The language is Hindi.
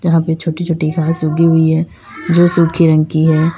यहां पे छोटी छोटी घास उगी हुई है जो सुखी रंग की है।